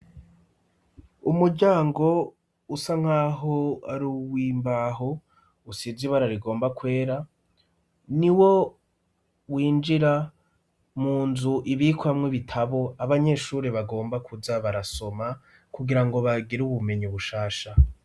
Umujango usa nk'aho ari uwimbaho usize ibararigomba kwera ni wo winjira mu nzu ibikwamwo ibitabo abanyeshuri bagomba kuza barasoma kugira ngo bagire ubumenyi ubushasha.